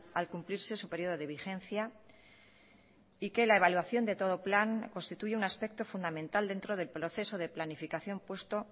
al cumplirse su período de vigencia y que la evaluación de todo plan constituye un aspecto fundamental dentro del proceso de planificación puesto